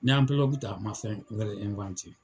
Ni ye Anpelogu ta ,a ma fɛn wɛrɛ